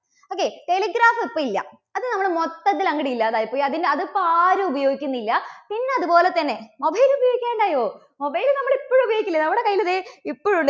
okay, telegraph ഇപ്പോ ഇല്ല. അത് നമ്മുടെ മൊത്തത്തിൽ അങ്ങോട്ട് ഇല്ലാതായി പോയി. അത്, അതിപ്പോ ആരും ഉപയോഗിക്കുന്നില്ല. പിന്നെ അതുപോലെതന്നെ mobile ഉപയോഗിക്കാണ്ടായോ? mobile നമ്മള് ഇപ്പോഴും ഉപയോഗിക്കുന്നില്ലേ? നമ്മുടെ കയ്യിൽ ഇതേ ഇപ്പഴും